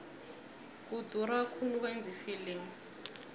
kudura khulu ukwenza ifilimu